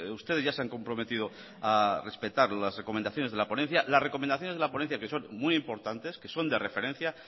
ustedes ya se han comprometido a respetar las recomendaciones de la ponencia las recomendaciones de la ponencia que son muy importantes que son de referencia